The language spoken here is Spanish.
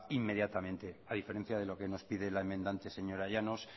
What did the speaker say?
inmediatamente a diferencia de lo que nos pide la enmendante señora llanos